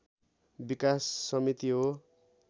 विकास समिति हो।